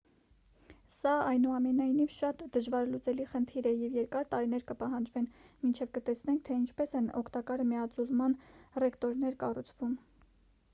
սա այնուամենայնիվ շատ դժվարլուծելի խնդիր է և երկար տարիներ կպահանջվեն մինչև կտեսնենք թե ինչպես են օգտակար միաձուլման ռեակտորներ կառուցվում